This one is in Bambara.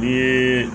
Ni